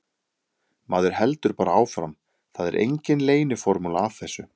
Maður heldur bara áfram, það er engin leyniformúla að þessu.